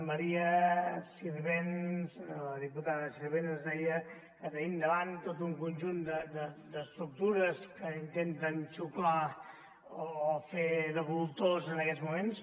maria sirvent la diputada sirvent ens deia que tenim davant tot un conjunt d’estructures que intenten xuclar o fer de voltors en aquests moments